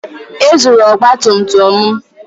Ezuru ọgba tum tum m.